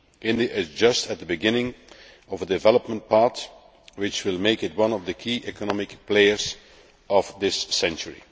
India is just at the beginning of a development path which will make it one of the key economic players of this century.